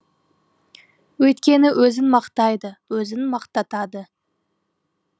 өйткені өзін мақтайды өзін мақтатады